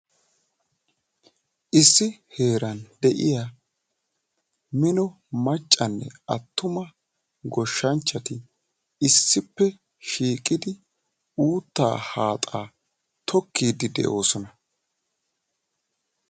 Issi heeran de'iya daro macanne atumma naati cora uutta tokkiddi de'osonna.